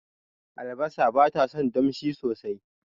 Albasa batason damshi sosai